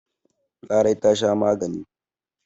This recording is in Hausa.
Larai ta sha magani.